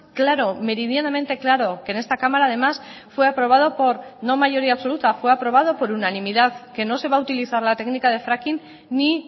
claro meridianamente claro que en esta cámara además fue aprobado por no mayoría absoluta fue aprobado por unanimidad que no se va a utilizar la técnica de fracking ni